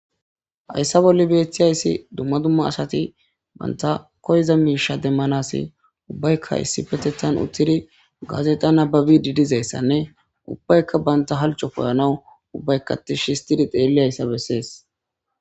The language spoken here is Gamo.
hayssa bolli beeththiyayssi dumma dumma asati banta koyza miisha demmanasi ubbaykka issi petetan uttidi gazexa nababi didizayssanne ubbaykka banta halco poyanaw ubbaykkatish histidi xeelli hayssa bessees